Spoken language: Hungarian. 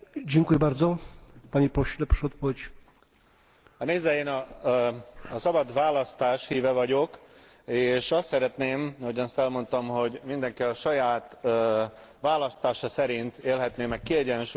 Nézze, én a szabad választás híve vagyok, és azt szeretném, ahogyan azt elmondtam, hogy mindenki a saját választása szerint élhetné meg kiegyensúlyozottan a szakmai és a magánéletét.